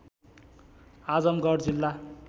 आजमगढ जिल्ला